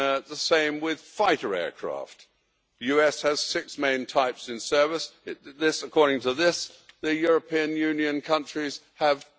II. The same with fighter aircraft the US has six main types in service, and, according to this, the European Union countries have